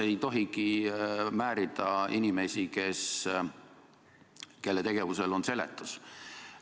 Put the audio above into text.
Ei tohigi määrida inimesi, kelle tegevusel on seletus.